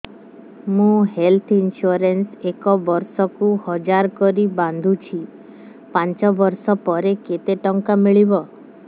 ମୁ health insurance ଏକ ବର୍ଷକୁ ହଜାର କରି ବାନ୍ଧୁଛି ପାଞ୍ଚ ବର୍ଷ ପରେ କେତେ ଟଙ୍କା ମିଳିବ